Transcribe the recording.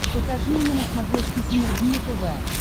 покажи мне на смотрешке синергия тв